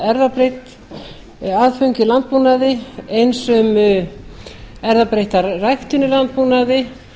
erfðabreytt aðföng í landbúnaði eins um erfðabreytta ræktun í landbúnaði